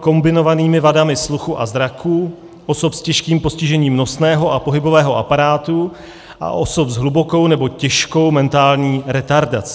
kombinovanými vadami sluchu a zraku, osob s těžkým postižením nosného a pohybového aparátu a osob s hlubokou nebo těžkou mentální retardací.